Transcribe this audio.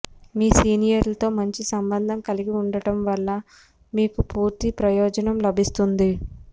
మీ సీనియర్లతో మంచి సంబంధం కలిగి ఉండటం వల్ల మీకు పూర్తి ప్రయోజనం లభిస్తుంది